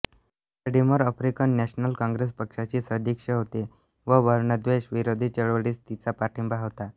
Gordimer African National Congress पक्षाची सदस्य होती व वर्णद्वेष विरोधी चळवळीस तिचा पाठिंबा होता